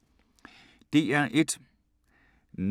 DR1